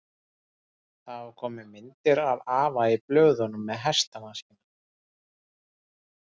Það hafa komið myndir af afa í blöðunum með hestana sína.